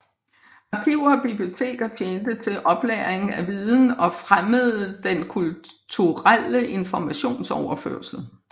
Arkiver og biblioteker tjente til oplagring af viden og fremmede den kulturelle informationsoverførsel